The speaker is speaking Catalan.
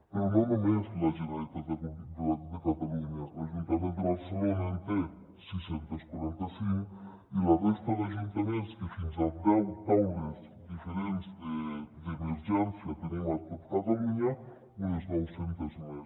però no només la generalitat de catalunya l’ajuntament de barcelona en té sis cents i quaranta cinc i la resta d’ajuntaments que fins a deu taules diferents d’emergència tenim a tot catalunya unes nou centes més